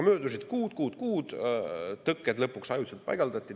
Möödusid kuud, kuud, kuud, ja tõkked lõpuks ajutiselt paigaldati.